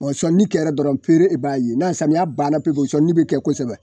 sɔnni kɛra dɔrɔn peere e b'a ye na samiya banna pepewu sɔnni be kɛ kosɛbɛ.